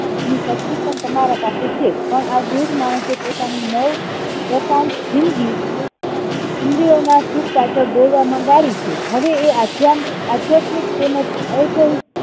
શક્તિ પણ તમારા પાસે છે પણ આ વૃદ્ધ માણસે પોતાની નવ દશાંક જિંદગી ઇન્દ્રિઓના સુખ પાછળ દોડવામાં ગાળી છે હે એ આધ્યાત્મિક અને અવસહીક